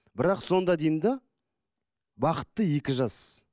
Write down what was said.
бірақ сонда деймін де бақытты екі жас